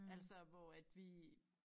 Altså hvor at vi